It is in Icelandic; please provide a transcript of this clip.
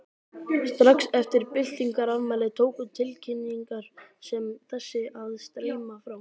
Strax eftir byltingarafmælið tóku tilkynningar sem þessi að streyma frá